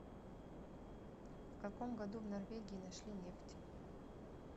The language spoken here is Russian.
в каком году в норвегии нашли нефть